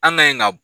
An ka ɲi ka